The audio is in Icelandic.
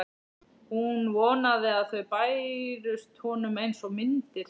Hún vonaði að þau bærust honum einsog myndir.